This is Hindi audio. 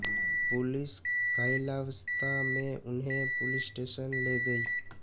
पुलिस घायलावस्था में उन्हें पुलिस स्टेशन ले गयी